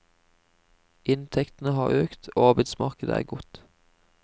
Inntektene har økt, og arbeidsmarkedet er godt.